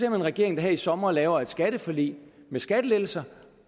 en regering der her i sommer lavede et skatteforlig med skattelettelser